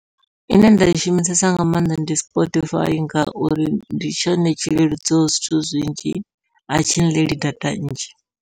Ine nda i shumisesa nga maanḓa ndi Spotify, ngauri ndi tshone tshi leludzaho zwithu zwinzhi atshi ḽeli data nnzhi.